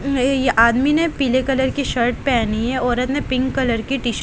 यह आदमी ने पीले कलर की शर्ट पहनी है औरत ने पिंक कलर की टी शर्ट --